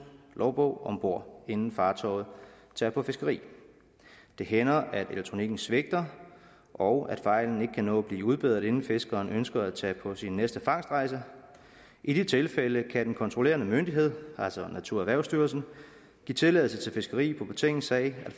logbog om bord inden fartøjet tager på fiskeri det hænder at elektronikken svigter og at fejlen ikke kan nå at blive udbedret inden fiskeren ønsker at tage på sin næste fangstrejse i de tilfælde kan den kontrollerende myndighed altså naturerhvervsstyrelsen give tilladelse til fiskeri på betingelse af at